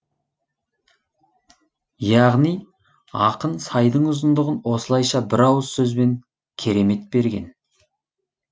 яғни ақын сайдың ұзындығын осылайша бір ауыз сөзбен керемет берген